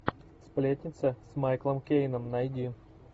сплетница с майклом кейном найди